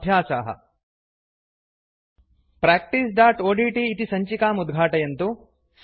अभ्यासाः practiceओड्ट् इति सञ्चिकाम् उद्घाटयन्तु